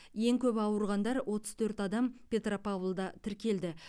ең көп ауырғандар отыз төрт адам петропавлда тіркелді